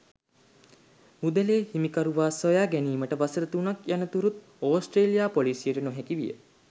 මුදලේ හිමිකරුවා සොයා ගැනීමට වසර තුනක් යනතුරුත් ඕස්ට්‍රේලියා පොලිසියට නොහැකි විය.